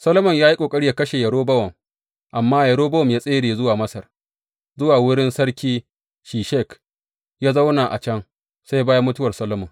Solomon ya yi ƙoƙari yă kashe Yerobowam, amma Yerobowam ya tsere zuwa Masar, zuwa wurin sarki Shishak, ya zauna a can sai bayan mutuwar Solomon.